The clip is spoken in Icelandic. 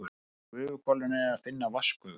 Í gufuhvolfinu er að finna vatnsgufu.